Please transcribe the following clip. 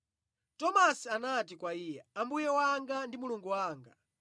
Tomasi anati kwa Iye, “Ambuye wanga ndi Mulungu wanga!”